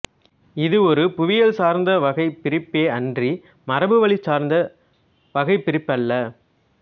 இது ஒரு புவியியல் சார்ந்த வகை பிரிப்பே அன்றி மரபுவழி சார்ந்த வகைபிரிப்பு அல்ல